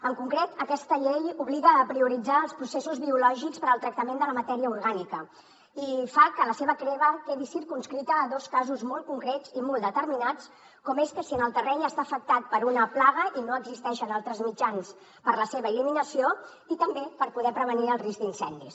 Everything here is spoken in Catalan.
en concret aquesta llei obliga a prioritzar els processos biològics per al tractament de la matèria orgànica i fa que la seva crema quedi circumscrita a dos casos molt concrets i molt determinats com és si el terreny està afectat per una plaga i no existeixen altres mitjans per a la seva eliminació i també per poder prevenir el risc d’incendis